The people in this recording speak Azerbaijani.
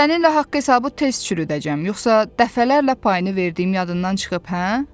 Səninlə haqq-hesabı tez çürüdəcəm, yoxsa dəfələrlə payını verdiyim yadından çıxıb, hə?